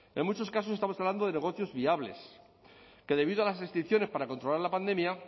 en muchos casos estamos hablando de negocios viables que debido a las restricciones para controlar la pandemia